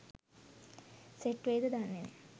set වෙයිද දන්නේ නෑ